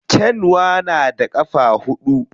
Kyanwa na da ƙafa huɗu.